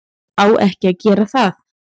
Á ekki að gera það.